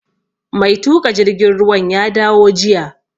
Mai tuƙa jirgin ruwan ya dawo jiya